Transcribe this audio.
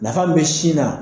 Nafa min be sin na